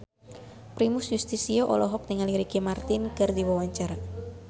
Primus Yustisio olohok ningali Ricky Martin keur diwawancara